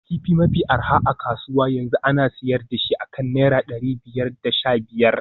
Kifi mafi arha a kasuwa yanzu ana sayar da shi akan naira dari biyar da sha biyar